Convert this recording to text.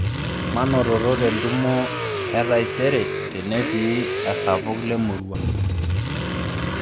manototo tentumo etaisere tenetii esapuk lemurua